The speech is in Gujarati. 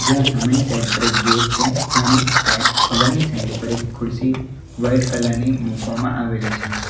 જ્યાં સામેની સાઈડ પર એક ગેટ છે ત્યાંની સાઈડ અગાડ ની સાઈડ પર એક ખુરશી વાઈટ કલર ની મૂકવામાં આવેલી છે.